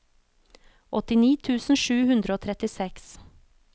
åttini tusen sju hundre og trettiseks